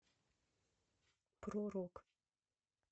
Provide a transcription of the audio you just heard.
про рок